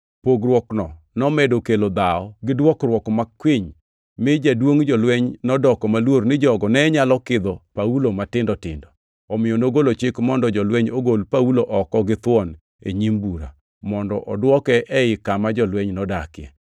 Pogruokno nomedo kelo dhawo gi dwokruok makwiny, mi jaduongʼ jolweny nodoko maluor ni jogo ne nyalo kidho Paulo matindo tindo. Omiyo nogolo chik mondo jolweny ogol Paulo oko githuon e nyim bura, mondo odwoke ei kama jolweny nodakie.